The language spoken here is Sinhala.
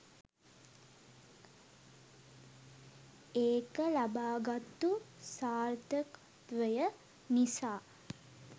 ඒක ලබාගත්තු සාර්ථකත්වය නිසා